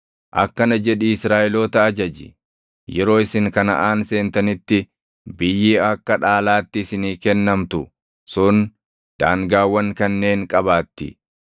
“Akkana jedhii Israaʼeloota ajaji: ‘Yeroo isin Kanaʼaan seentanitti biyyi akka dhaalaatti isinii kennamtu sun daangaawwan kanneen qabaatti: